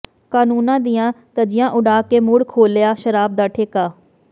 ਕਾਨੰੂਨਾਂ ਦੀਆਂ ਧੱਜੀਆਂ ਉਡਾ ਕੇ ਮੁੜ ਖੋਲਿ੍ਹਆ ਸ਼ਰਾਬ ਦਾ ਠੇਕਾ